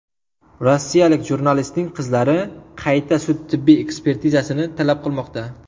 Rossiyalik jurnalistning qizlari qayta sud-tibbiy ekspertizasini talab qilmoqda.